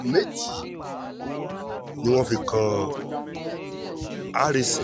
ẹ̀sùn méjì ni wọ́n fi kan harrison